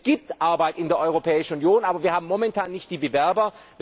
Es gibt Arbeit in der Europäischen Union, aber wir haben momentan nicht die Bewerber.